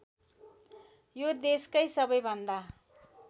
यो देशकै सवैभन्दा